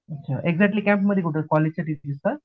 अच्छा exactly camp मध्ये कुठे कॉलेजच्या ठिकाणीच का